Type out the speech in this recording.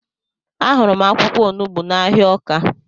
Ahụrụ m akwụkwọ onugbu n'ahịa Ọka